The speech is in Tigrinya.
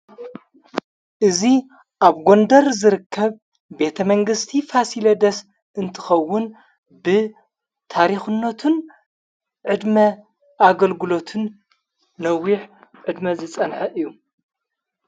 እዙ ኣብ ጐንደር ዝርከብ ቤተ መንግሥቲ ፋሲለ ደስ እንትኸውን ብ ታሪኹነቱን ዕድመ ኣገልግሎትን ነዊሕ ዕድመ ዝጸንሐ እዩ።